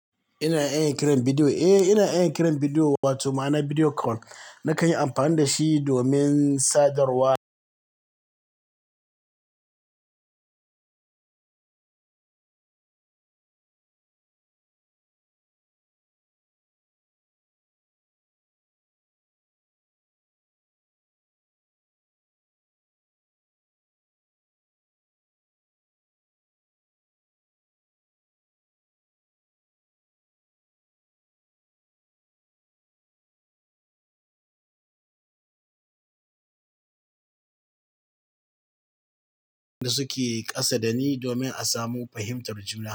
Ina iya kiran bidiyo? Eh, ina iya kiran bidiyo wato ma'ana video call. Na kan yi amfani da shi domin sadarwa da suke ƙasa da ni domin a samu fahimtar juna.